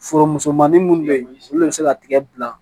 Foro musomanin minnu bɛ yen olu bɛ se ka tigɛ bila